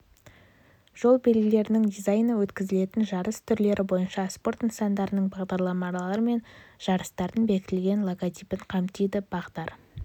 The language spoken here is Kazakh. жол белгілерінің дизайны өткізілетін жарыс түрлері бойынша спорт нысандарының бағдарламалары мен жарыстардың бекітілген логотипін қамтиды бағдар